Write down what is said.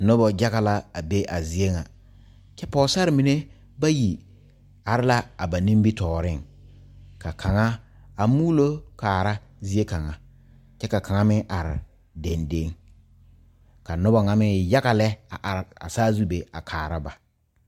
Nobɔ yaga la a be a zie ŋa. Kyɛ pɔgɔsare mene bayi are la a ba nimitooreŋ. Ka kanga a muolo kaara zie kanga. Kyɛ ka kanga meŋ are dɛdɛŋ. Ka nobɔ ŋa meŋ e yaga lɛ a are a saazu be a kaara ba.